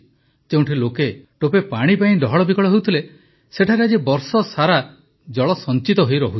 ଯେଉଁଠି ଲୋକେ ଟୋପେ ପାଣି ପାଇଁ ଡହଳବିକଳ ହେଉଥିଲେ ସେଠାରେ ଆଜି ବର୍ଷସାରା ଜଳ ସଞ୍ଚିତ ହୋଇ ରହୁଛି